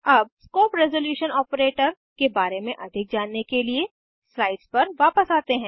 अब scope resolution operator के बारे में अधिक जानने के लिए स्लाइड्स पर वापस आते हैं